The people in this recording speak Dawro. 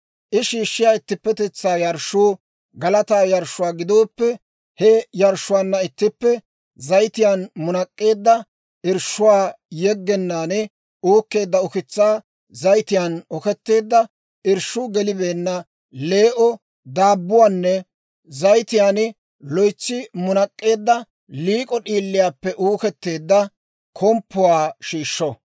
I shiishshiyaa ittippetetsaa yarshshuu galataa yarshshuwaa gidooppe, he yarshshuwaanna ittippe zayitiyaan munak'k'eedda, irshshuwaa yeggennaan uukkeedda ukitsaa, zayitiyaan oketteedda, irshshuu gelibeenna lee"o daabbuwaanne zayitiyaan loytsi munak'k'eedda, liik'o d'iiliyaappe uuketteedda komppuwaa shiishsho.